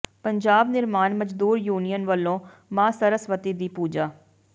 ਪੰਜਾਬ ਨਿਰਮਾਣ ਮਜ਼ਦੂਰ ਯੂਨੀਅਨ ਵੱਲੋਂ ਮਾਂ ਸਰਸਵਤੀ ਦੀ ਪੂਜਾ